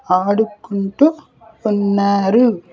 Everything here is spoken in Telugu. ఆడుకుంటూ ఉన్నారు.